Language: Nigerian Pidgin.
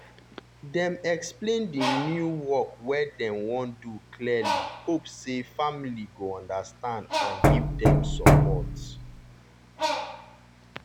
dem explain di new work wey dem wan do clearly hope say family go understand and give them support.